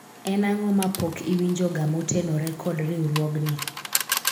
en ang'o ma pok iwinjo ga motenore kod riwruogni